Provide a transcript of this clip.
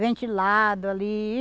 Ventilado ali.